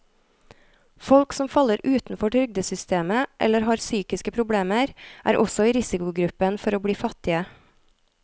Folk som faller utenfor trygdesystemet eller har psykiske problemer, er også i risikogruppen for å bli fattige.